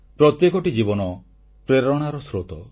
ପ୍ରତ୍ୟେକଟି ଜୀବନ ପ୍ରେରଣାର ସ୍ରୋତ